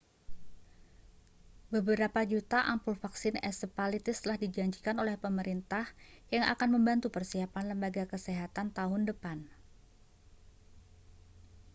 beberapa juta ampul vaksin encephalitis telah dijanjikan oleh pemerintah yang akan membantu persiapan lembaga kesehatan tahun depan